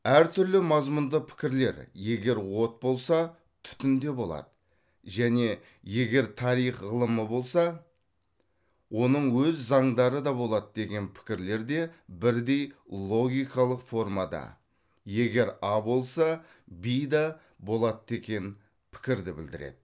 әр түрлі мазмұнды пікірлер егер от болса түтін де болады және егер тарих ғылымы болса оның өз зандары да болады деген пікірлер де бірдей логикалық формада егер а болса в да болады деген пікірді білдіреді